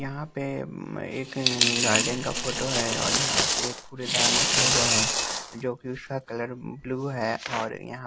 यहां पे एक गार्डेन का फोटो है और यहां पे एक कूड़ेदान रख गया है जोकि उसका कलर ब्ल्यू है और यहां--